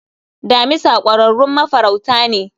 Damisa kwararrun mafaruta ne